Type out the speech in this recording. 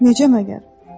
Necə məgər?